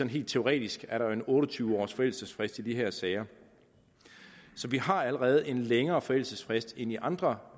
helt teoretisk er en otte og tyve års forældelsesfrist i de her sager så vi har allerede en længere forældelsesfrist end i andre